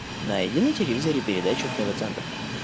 найди на телевизоре передачу тв центр